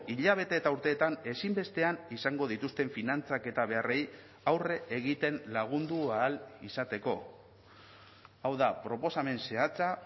hilabete eta urteetan ezinbestean izango dituzten finantzak eta beharrei aurre egiten lagundu ahal izateko hau da proposamen zehatza